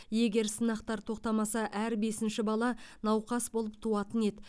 егер сынақтар тоқтамаса әр бесінші бала науқас болып туатын еді